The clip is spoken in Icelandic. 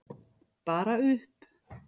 Bara upp!